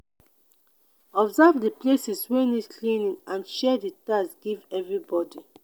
observe di places wey need cleaning and share de task give everybody